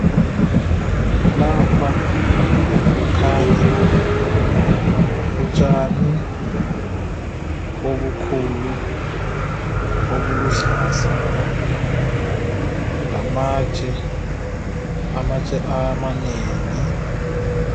Lapha kukhanya utshani obukhulu obuluhlaza lamatshe. Amatshe amanengi.